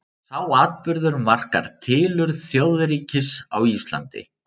Sá atburður markar tilurð þjóðríkis á Íslandi.